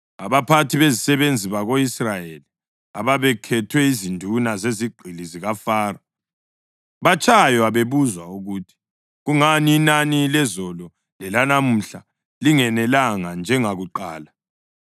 Abaphathi bezisebenzi bako-Israyeli ababekhethwe yizinduna zezigqili zikaFaro batshaywa bebuzwa ukuthi, “Kungani inani lezolo lelanamuhla lingenelanga njengakuqala?”